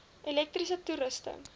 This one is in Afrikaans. elektriese toerusting